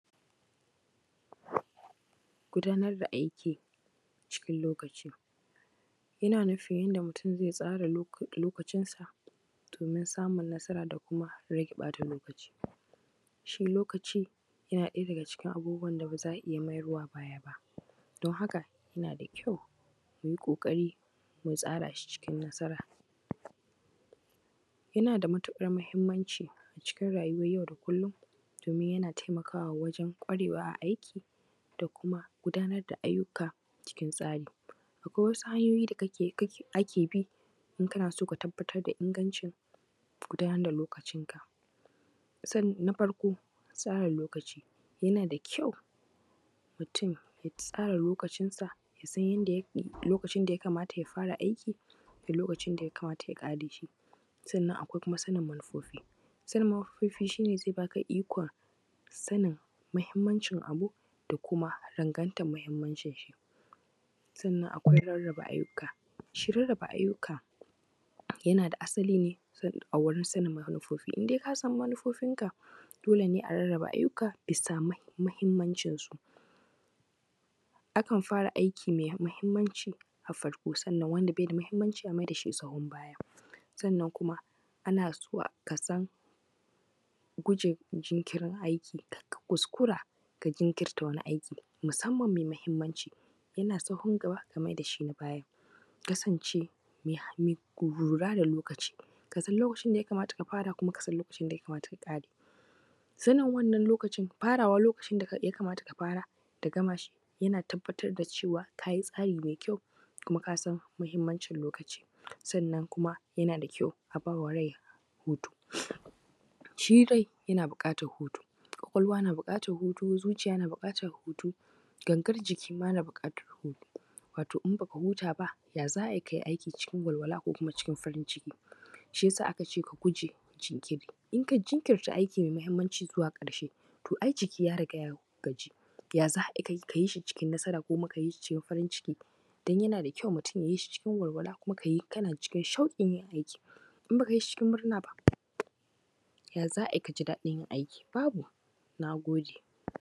Gudanar da aiki cikin lokaci. Ina nufin yadda mutum zai tsara lokacinsa domin samun nasara da kuma rage ɓata lokaci. Shi lokaci yana ɗaya daga cikin abubuwan da ba za a iya mayarwa baya ba, don haka, yana da kyau mu yi ƙoƙari, mu tsara shi cikin nasara. Yana da matuƙar muhimmanci a cikin rayuwar yau da kullum domin yana taimakawa wajen ƙwarewa a aiki da kuma gudanar da ayyuka cikin tsari. Akwai wasu hanyoyi da ake bi in kana so ka tabbatar da ingancin gudanar lokacinka. Na farko: tsara lokaci:- yana da kyau mutum ya tsara lokacinsa, ya san lokacin da ya kamata ya fara aiki da lokacin da ya kamata ya ƙare shi. Sannan kuma akwai sanin manufofi:- sanin manufofi shi ne zai ba ka ikon sanin muhimmancin abu da kuma rangantan muhuimmancinshi. Sannan akwai rarraba ayyuka:- shi rarraba ayyuka yana da asali ne a wurin sanin manufofi, in dai ka san manufofinka, dole ne a rarraba ayyuka bisa muhimmancinsu. Akan fara aiki mai muhimmanci a farko sannan wanda bai da muhimmanci a mai da shi sahun baya. Sannan kuma ana so ka san guje jinkirin aiki, kar ka kuskura ka jinkirta wani aiki, musamman mai muhimanci, yana sahun gaba, ka mai da shi na baya, ka kasance mai halin lura da lokaci. Ka san lokacin da ya kamata ka fara kuma ka san lokacin da ya kamata ka ƙare. Sanin wannan lokacin, farawar lokacin da ya kamata ka fara da gama shi yana tabbatar da cewa ka yi tsari mai kyau kuma ka san muhimmancin lokaci. Sannan kuma yana da kyau a ba wa rai hutu, shi rai, yana buƙatar hutu, ƙwaƙwalwa na buƙatar hutu, zuciya na buƙatar hutu, gangar jiki ma na buƙatar hutu. Wato in ba ka huta ba, ya za a yi ka yi aiki cikin walwala ko kuma cikin farn ciki? Shi ya sa aka ce ka guje jinkiri. In ka jinkirta aiki mai muhimanci zuwa ƙarshe, to ai jiki ya riga ya gaji, ya za a yi ka yi shi cikin nasara kuma cikin farin ciki? Don yana da kyau mutum ya yi shi cikin walwala kuma ka yi kana cikin shauƙin yin aiki. In ba ka yi shi cikin murna ba, ya za a yi ka ji daɗin yin aiki? Babu. Na gode.